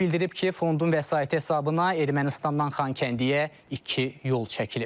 Bildirib ki, fondun vəsaiti hesabına Ermənistandan Xankəndiyə iki yol çəkilib.